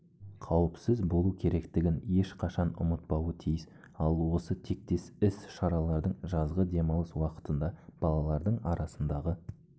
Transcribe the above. қауіпсіз болуы керектігін ешқашан ұмытпауы тиіс ал осы тектес іс-шаралар жазғы демалыс уақытында балалардың арасындағы